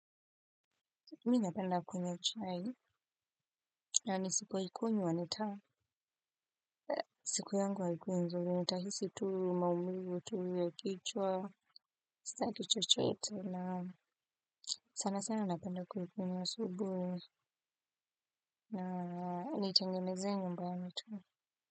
Mi napenda kunywa chai na nisipoikunywa siku yangu haikuwi nzuri nahisi tu maumivu uchovu ya kichwa sitaki chochote na sana sana napenda kuikunywa asubuhi na nitengeneze nyumba ya mitu.